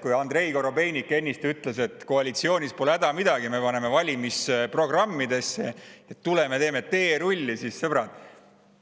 Kuigi Andrei Korobeinik ennist ütles, et koalitsioonis olles pole häda midagi, paneme valimisprogrammidesse ja tuleme teeme teerulli, siis, sõbrad,